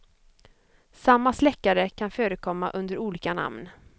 Samma släckare kan förekomma under olika namn.